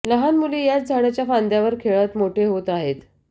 लहान मुले याच झाडाच्या फांद्यांवर खेळत मोठे होत आहेत